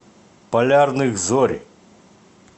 полярных зорь